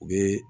U bɛ